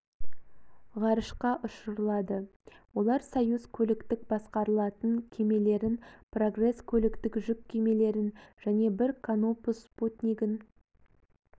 ғарышқа ұшырылады олар союз көліктік басқарылатын кемелерін прогресс көліктік жүк кемелерін және бір канопус спутнигін